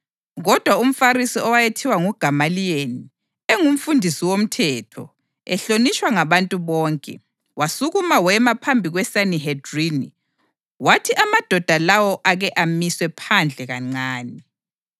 Kodwa umFarisi owayethiwa nguGamaliyeli, engumfundisi womthetho, ehlonitshwa ngabantu bonke, wasukuma wema phambi kweSanihedrini wathi amadoda lawo ake amiswe phandle kancane.